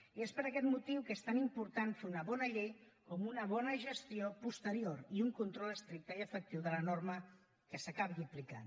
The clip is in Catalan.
i és per aquest motiu que és tan important fer una bona llei com una bona gestió posterior i un control estricte i efectiu de la norma que s’acabi aplicant